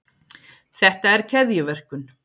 þetta er keðjuverkun